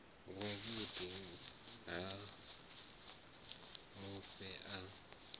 wa vhuḓi ha mufhe a